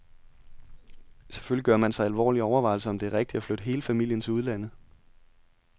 Selvfølgelig gør man sig alvorlige overvejelser, om det er rigtigt at flytte hele familien til udlandet.